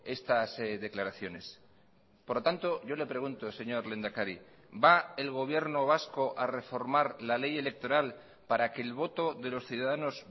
estas declaraciones por lo tanto yo le pregunto señor lehendakari va el gobierno vasco a reformar la ley electoral para que el voto de los ciudadanos